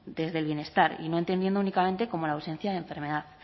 desde el bienestar y no entendiendo únicamente como la ausencia de enfermedad